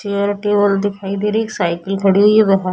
Chair table दिखाई दे रही हैं । एक साइकिल खड़ीं हुई है बा--